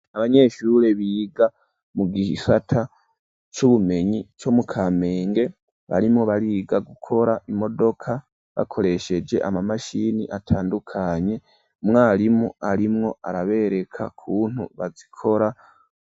Abanyeshure biga mu gisata c'ubumenyi co mu Kamenge barimwo bariga gukora imodoka bakoresheje amamashini atandukanye umwarimu arimwo arabereka ukuntu bazikora.